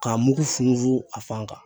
K'a mugu funfun a fan kan